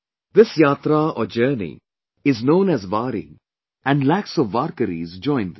This yatra journey is known as Wari and lakhs of warkaris join this